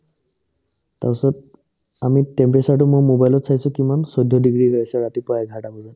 তাৰপিছত আমি temperature তো মই মোবাইলত চাইছো কিমান চৈধ্য ডিগ্ৰী হৈ আছে ৰাতিপুৱা এঘাৰটা বজাত